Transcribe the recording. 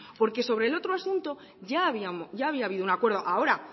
porque sobre le otro asunto ya había habido un acuerdo ahora